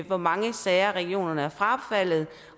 hvor mange sager regionerne har frafaldet